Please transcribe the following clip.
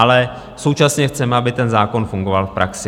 Ale současně chceme, aby ten zákon fungoval v praxi.